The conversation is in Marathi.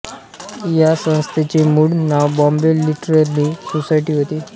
या संस्थेचे मूळ नाव बॉम्बे लिटररी सोसायटी होते